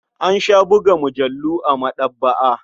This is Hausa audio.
An sha buga mujallu a maɗaba'a.